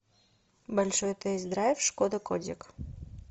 большой тест драйв шкода кодик